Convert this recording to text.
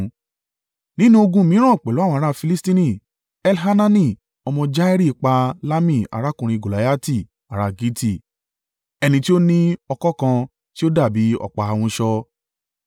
Nínú ogun mìíràn pẹ̀lú àwọn ará Filistini, Elhanani ọmọ Jairi pa Lahmi arákùnrin Goliati ará Gitti, ẹni ti ó ní ọ̀kọ̀ kan tí ó dàbí ọ̀pá ahunṣọ.